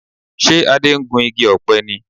Ṣe Adé ń gun igi ọ̀pẹ ni?